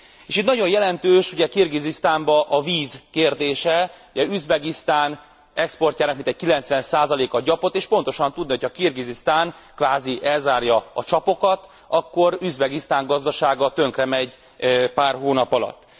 És itt nagyon jelentős ugye Kirgizisztánban a víz kérdése, ugye Üzbegisztán exportjának mintegy 90 a gyapot és pontosan tudni, hogy ha Kirgizisztán kvázi elzárja a csapokat, akkor Üzbegisztán gazdasága tönkremegy pár hónap alatt.